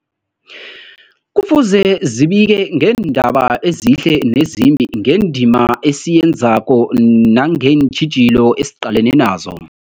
Kufuze zibike ngeendaba ezihle nezimbi, ngendima esiyenzako nangeentjhijilo esiqalene nazo.